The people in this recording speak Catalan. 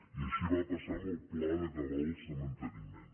i així va passar en el pla de cabals de manteniment